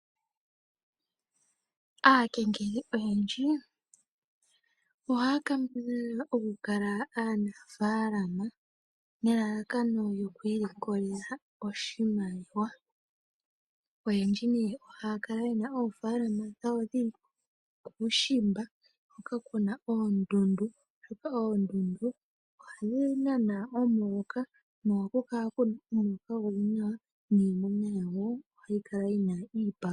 Aakengeli oyendji, ohaa kambadhala okukala aanfaalama, nelalakano lyokwiilikolela oshimaliwa. Oyendji nee ohaya kala yena oofaalama dhawo dhili kuushimba hoka kuna oondundu, oshoka oondundu ohadhi nana omuloka, noha ku kala kuna omuloka omwaanawa, niimuna yawo ohayi kala yina iipalutha.